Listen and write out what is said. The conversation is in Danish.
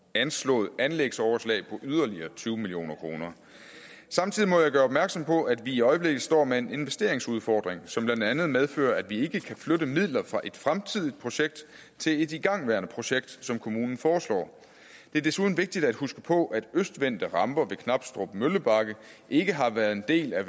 anslået anlægsoverslag på yderligere tyve million kroner samtidig må jeg gøre opmærksom på at vi i øjeblikket står med en investeringsudfordring som blandt andet medfører at vi ikke kan flytte midler fra et fremtidigt projekt til et igangværende projekt som kommunen foreslår det er desuden vigtigt at huske på at østvendte ramper ved knabstrup møllebakke ikke har været en del af